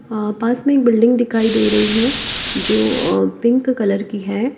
हाँ पास में एक बिल्डिंग दिखाई दे रही है जो अह पिंक कलर की है।